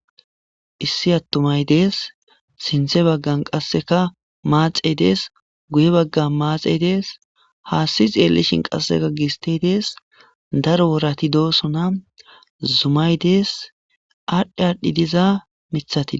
Issi aththumay de7ees;sinththa baggan qassikka maaxee de7ees; guye baggan maatstsee de7ees; haassi tseellishin qassikka gisththee des; daro worathi doosana; zumay de7ees; aadhdhi aadhdhida izaa miththathi.